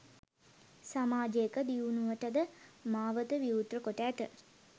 සමාජයක දියුණුවට ද මාවත විවෘත කොට ඇත.